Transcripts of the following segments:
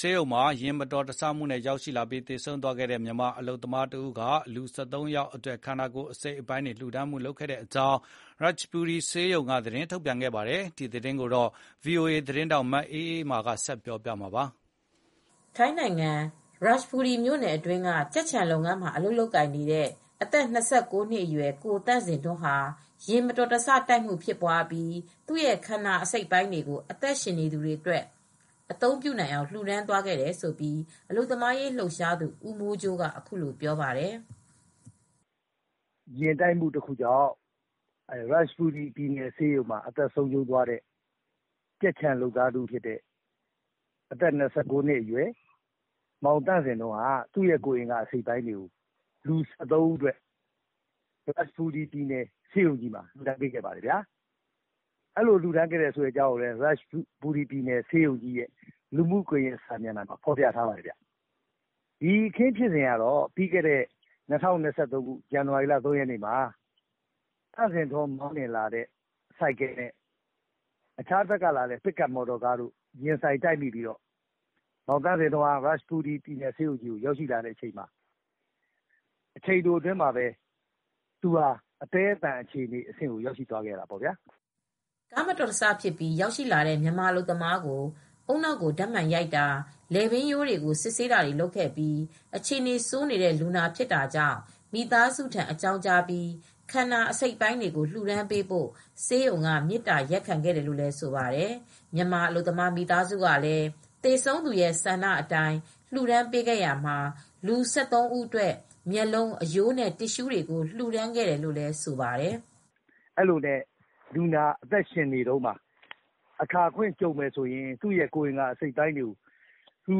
ဆေးရုံမှာ ယာဉ်မတော်တဆမူ့နဲ့ရောက်ရှိလာပြီး သေဆုံးသွားခဲ့တဲ့ မြန်မာအလုပ်သမားတဦးက လူ(၁၃)ယောက်အတွက်ခန္ဓာကိုယ် အစိတ်အပိုင်းတွေလျူဒါန်းခဲ့ကြောင်း ရာချ်ဘူရီဆေးရုံကြီးကသတင်းထုတ် ပြန်ခဲ့ပါတယ်။ ဒီသတင်းကိုဗွီအိုအေသတင်းထောက်မအေးအေးမာကသတင်းပေးပို့ထားပါတယ်။ ထိုင်းနိုင်ငံ ရာချ်ဘူရီမြို့နယ် အတွင်းကကြက်ခြံလုပ်ငန်းမှာအလုပ်လုပ်ကိုင်နေတဲ့အသက် (၂၉) အရွယ် ကိုသန့်ဇင်ထွန်း ဟာ ယာဉ်မတော်တဆတိုက်မူ့ဖြစ်ပြီး၊ သူရဲ့ခန္ဓာကိုယ် အစိတ်အပိုင်းတွေကို အသက်ရှင်နေသူတွေအတွက်အသုံး ပြုနိုင်အောင်လျူဒါန်းသွားခဲ့တယ်လို့အလုပ်သမားရေးလှုပ်ရှားသူဦးမိုးကြိုးကအခုလိုပြောပါတယ်။ “ ယာဉ်တိုက်မူ့တခုကြောင့် ရာတ်ချ်ဘူရီဆေးရုံတခုမှာ အသက်ဆုံးရှုံးသွားတဲ့ ကြက်ခြံလုပ်သားတဦးဖြစ်တဲ့ အသက် ၂၉နှစ်အရွယ် မောင်သန့်ဇင်ထွန်းဟာ သူ့ခန္ဓာကိုယ်အစိတ်အပိုင်းတွေကိုအသုံးပြုဖို့ အတွက်ရာတ်ချ်ဘူရီဆေးရုံကြီးမှာ လျူဒါန်းပေးခဲ့ပါတယ်။ ဒါကိုလည်း ရာတ်ချ်ဘူရီဆေးရုံကြီးရဲ့လူမူ့ကွန်ယက်စာမျက်နှာမှာဖော်ပြခဲ့ပါတယ်၊ ဒီအခင်းဖြစ်စဉ်ကတော့ပြီး ခဲ့တဲ့ ၂၀၂၃ ဇန်နဝါရီလ ၃ရက်နေ့မှာ မောင်သန့်ဇင်ထွန်းမောင်းလာတဲ့ ဆိုင်ကယ်နဲ့တဖက်က ပစ်ကပ်ကားတိုက်မူ့ဖြစ်ပွားခဲ့ပါတယ်။ သူဟာရာတ်ချ်ဘူရီဆေးရုံကြီးကိုရောက်လာချိန်မှာအချိန်တိုအတွင်းမှာ ပဲအသည်းအသန်အခြေအနေကိုရောက်ရှိလာပါတယ်။” ကားမတော်တဆဖြစ်ပြီးရောက်လာတဲ့ မြန်မာအလုပ်သမားကိုဦးနှောက်ကို ဓါတ်မှန်ရိုက်တာ လည်ပင်ရိုးတွေကို စစ်ဆေးတာတွေလုပ်ခဲ့ပြီး အခြေအနေဆိုးနေတဲ့လူနာဖြစ်တာကြောင့် မိသားစုထံအကြောင်းကြားပြီး၊ ခန္ဓာအစိတ်အပိုင်းတွေကို လျူဒါန်းပေးဖို့ဆေးရုံက မေတ္တာရပ်ခံခဲ့တယ်လို့ဆိုပါတယ်။ မြန်မာအလုပ်သမားမိသားစုကလည်းသေဆုံးသူရဲ့ဆန္ဓအတိုင်းလှုဒါန်းပေးခဲ့ရမှာလူ၁၃ဦးအတွက်မျက်လုံး အရိုးနဲ့တစ်ရူးတွေကို လှုဒါန်းခဲ့တယ်လို့လည်းဆိုပါတယ်။ “သူ နေကောင်းစဉ်မှာ အခါအခွင့်ကြုံရင်သူ့ခနာအစိတ်အပိုင်းကိုလျူ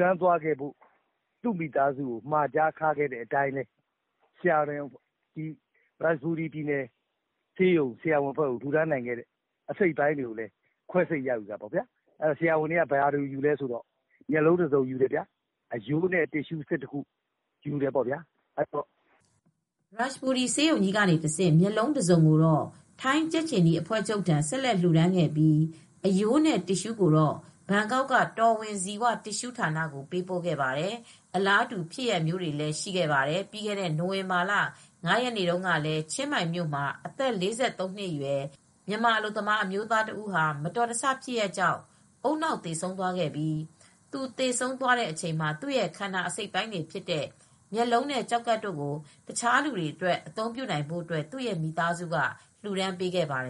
ဒါန်းသွားဖို့မှာကြားသွားတဲ့အတွက် ဆရာဝန်တွက သူရဲ့မျက်လုံးတစုံယူတယ်၊ အရိုးနဲ့ တစ်ရူး၁၁ခုကိုလည်းယူပါတယ်၊” ရာတ်ချ်ဘူရီဆေးရုံကြီးကတဆင့် မျက်လုံးတစုံကိုတော့ ထိုင်းကြက်ခြေနီအဖွဲ့ချုပ်ထံဆက်လက်လျူဒါန်းခဲ့ပြီး အရိုးနဲ့တစ်ရူးကိုတော့ ဘန်ကောက်က တော်ဝင်ဇီဝတစ်ရူးဌာနကိုပေးပို့ခဲ့ပါတယ်၊ အလာတူဖြစ်ရပ်မျိုးလည်းရရှိခဲ့ပါတယ် ။ ပြီးခဲ့တဲ့နိုဝင်ဘာလ၅ရက်နေ့တုန်းကလည်း ချင်းမိုင်မြို့မှာအသက်(၄၃)နှစ်အရွယ် မြန်မာအလုပ်သမားအမျိုးသားတဦး မတော်တဆဖြစ်ရပ်ကြောင့် ဦးနှောက်သေဆုံးသွားခဲ့ပြီး သူသေဆုံးပြီးချိန်မှာသူရဲ့ခန္ဓာကိုယ်အစိတ်အပိုင်းတွေဖြစ်တဲ့ မျက်လုံးနဲ့ ကျောက်ကပ်ကို တခြားလူတွေအတွက်အသုံးပြုဖို့အတွက်သူ့ရဲ့မိသားစုကလှူဒါန်းပေးခဲ့ပါတယ်